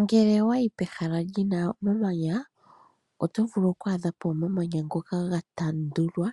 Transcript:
Ngele owayi pehala lina uumanya, oto vulu oku adha po omamanya ngoka ga tandulwa